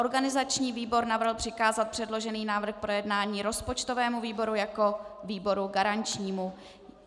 Organizační výbor navrhl přikázat předložený návrh k projednání rozpočtovému výboru jako výboru garančnímu.